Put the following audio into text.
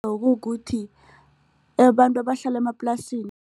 Bekukuthi abantu abahlala